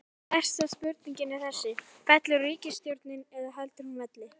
Stærsta spurningin er þessi, fellur ríkisstjórnin eða heldur hún velli?